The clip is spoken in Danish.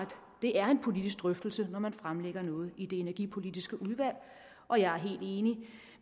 det er en politisk drøftelse når man fremlægger noget i det energipolitiske udvalg og jeg er helt enig